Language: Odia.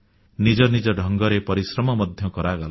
ନିଜ ନିଜ ଢଙ୍ଗରେ ପରିଶ୍ରମ ମଧ୍ୟ କରାଗଲା